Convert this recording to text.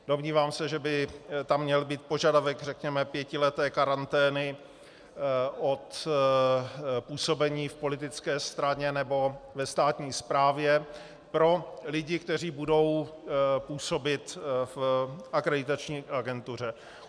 Domnívám se, že by tam měl být požadavek, řekněme, pětileté karantény od působení v politické straně nebo ve státní správě pro lidi, kteří budou působit v akreditační agentuře.